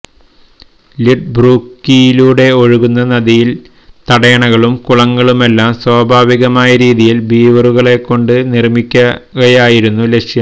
ലിഡ്ബ്രൂക്കിലൂടെ ഒഴുകുന്ന നദിയില് തടയണകളും കുളങ്ങളുമെല്ലാം സ്വാഭാവികമായ രീതിയില് ബീവറുകളെക്കൊണ്ട് നിര്മിക്കുകയായിരുന്നു ലക്ഷ്യം